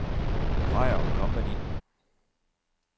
Dreier & Co.